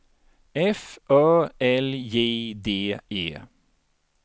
F Ö L J D E